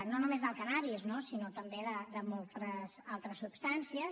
no només del cànnabis no sinó també de moltes altres substàncies